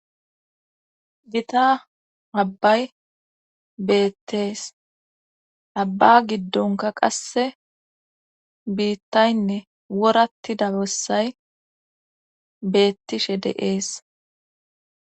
Gita abbay beettees abba giddonka qasse biittaynne woratti dabossay beettishe de7ees